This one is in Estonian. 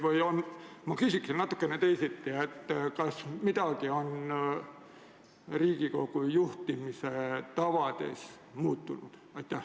Või ma küsin natukene teisiti: kas midagi on Riigikogu juhtimise tavades muutunud?